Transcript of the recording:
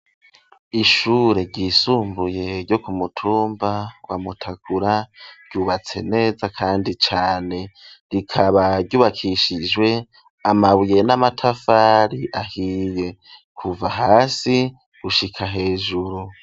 Ishure ryisumbuye ryo kumutumba wamutakura byubatse neza kandi cane rikaba ryubakishijwe amabuye n'amatafari ahiye kuva hasi gushika hejuru.